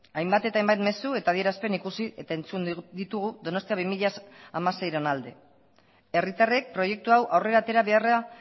hainbat eta hainbat mezu eta adierazpen ikusi eta entzun ditugu donostia bi mila hamaseiren alde herritarrek proiektu hau aurrera atera beharra